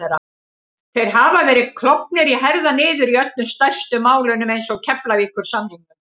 Þeir hafa verið klofnir í herðar niður í öllum stærstu málunum eins og Keflavíkursamningnum